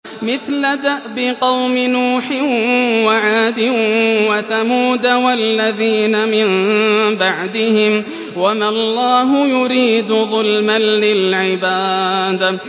مِثْلَ دَأْبِ قَوْمِ نُوحٍ وَعَادٍ وَثَمُودَ وَالَّذِينَ مِن بَعْدِهِمْ ۚ وَمَا اللَّهُ يُرِيدُ ظُلْمًا لِّلْعِبَادِ